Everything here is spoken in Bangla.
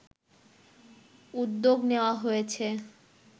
উদ্যোগ নেওয়া হয়েছে